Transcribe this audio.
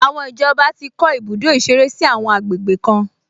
Àwọn ìjọba ti kọ́ ibùdó ìṣeré sí àwọn àgbègbè kan